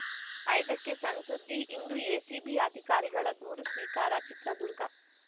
ಐದಕ್ಕೆಸಣ್‌ಸುದ್ದಿ ಇಂದು ಎಸಿಬಿ ಅಧಿಕಾರಿಗಳ ದೂರು ಸ್ವೀಕಾರ ಚಿತ್ರದುರ್ಗ